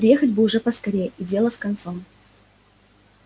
приехать бы уж поскорее и дело с концом